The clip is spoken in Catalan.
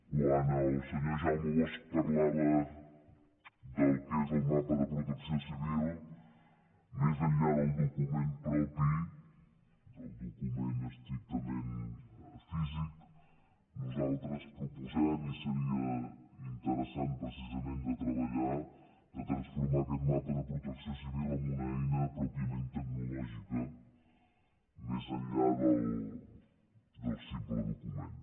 quan el senyor jaume bosch parlava del que és el mapa de protecció civil més enllà del document propi del document estrictament físic nosaltres proposem i seria interessant precisament de treballar per transformar aquest mapa de protecció civil en una eina pròpiament tecnològica més enllà del simple document